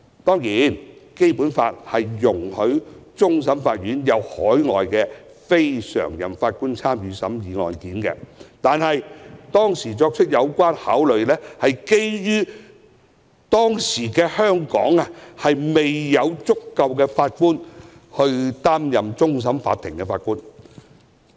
當然，《基本法》容許海外非常任法官參與審議終審法院的案件，但當時的考慮是當時香港未有足夠法官擔任終審法院的法官。